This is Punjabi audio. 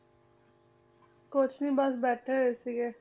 ਕੁਛ ਨੀ ਬਸ ਬੈਠੇ ਹੋਏ ਸੀਗੇ।